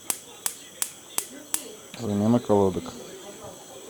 замена колодок